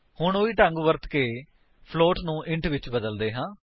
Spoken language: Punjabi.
ਹੁਣ ਉਹੀ ਢੰਗ ਵਰਤ ਕੇ ਫਲੋਟ ਨੂੰ ਇੱਕ ਇੰਟ ਵਿੱਚ ਬਦਲਦੇ ਹਾਂ